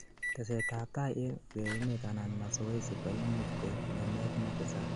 teset ab tai en urerenet anan masoezi koimuch koib ngemet netesat